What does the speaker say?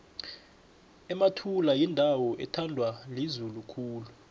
emathula yindawo ethandwa lizulu khulu